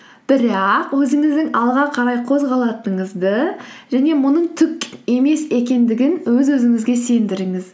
бірақ өзіңіздің алға қарай қозғалатыныңызды және мұның түк емес екендігін өз өзіңізге сендіріңіз